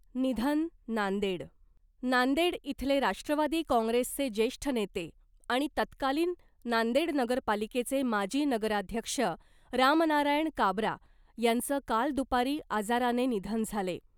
निधन, नांदेड, नांदेड इथले राष्ट्रवादी काँग्रेसचे जेष्ठ नेते आणि तत्कालीन नांदेड नगर पालिकेचे माजी नगराध्यक्ष रामनारायण काबरा यांच काल दुपारी आजाराने निधन झाले .